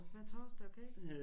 Hver torsdag okay